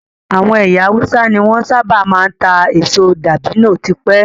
Àwọn ẹyà Hausa ní wọn sábà máa ń ta èso dabino tipẹ́